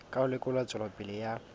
ka ho lekola tswelopele ya